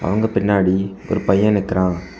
அவங்க பின்னாடி ஒரு பையன் நிக்கிறா.